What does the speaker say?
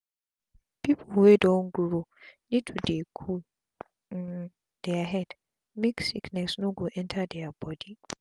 pipu wey don grow need to dey cool um dia head make sickness no go enta dia bodi